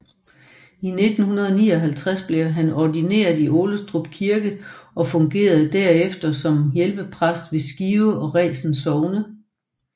I 1959 blev han ordineret i Årestrup Kirke og fungerede derefter som hjælpepræst ved Skive og Resen Sogne